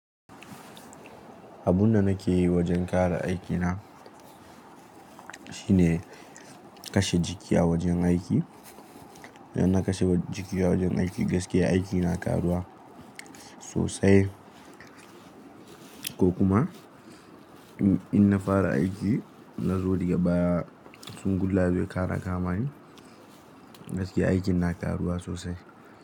Abun da nake yi wajen ƙara aikina shine kashe jiki a wajen aiki. Idan na kashe jiki a wajen aiki gaskiya aiki na ƙaruwa sosai ko kuma in na fara aiki na zo daga baya tun gun lafiya kara kamani gaskiya aikin na ƙaruwa sosai.